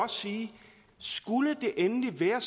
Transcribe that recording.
sige at skulle det endelig være